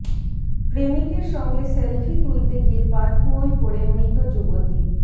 প্রেমিকের সঙ্গে সেল্ফি তুলতে গিয়ে পাতকুঁয়োয় পড়ে মৃত যুবতী